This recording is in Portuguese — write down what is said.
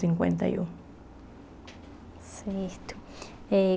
Cinquenta e um Certo eh.